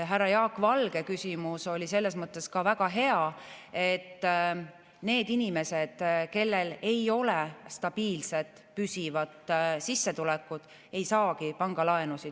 Härra Jaak Valge küsimus oli selles mõttes ka väga hea, et need inimesed, kellel ei ole stabiilset püsivat sissetulekut, ei saagi pangalaenu.